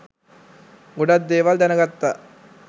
ගොඩක් දේවල් දැනගත්තා